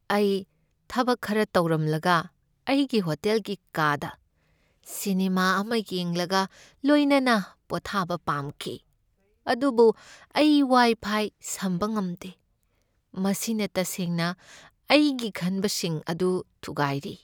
ꯑꯩ ꯊꯕꯛ ꯈꯔ ꯇꯧꯔꯝꯂꯒ ꯑꯩꯒꯤ ꯍꯣꯇꯦꯜꯒꯤ ꯀꯥꯗ ꯁꯤꯅꯦꯃꯥ ꯑꯃ ꯌꯦꯡꯂꯒ ꯂꯣꯏꯅꯅ ꯄꯣꯊꯕ ꯄꯥꯝꯈꯤ, ꯑꯗꯨꯕꯨ ꯑꯩ ꯋꯥꯏꯐꯥꯏ ꯁꯝꯕ ꯉꯝꯗꯦ, ꯃꯁꯤꯅ ꯇꯁꯦꯡꯅ ꯑꯩꯒꯤ ꯈꯟꯕꯁꯤꯡ ꯑꯗꯨ ꯊꯨꯒꯥꯏꯔꯤ꯫